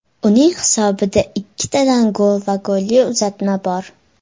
Uning hisobida ikkitadan gol va golli uzatma bor.